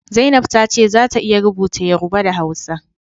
Zainab ta ce za ta iya rubuta Yoruba da Hausa